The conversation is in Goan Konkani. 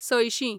सयशीं